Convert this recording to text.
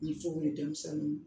Ni denmisɛnninw